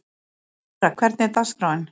Myrra, hvernig er dagskráin?